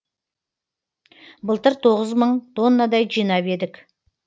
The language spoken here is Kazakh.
былтыр тоғыз мың тоннадай жинап едік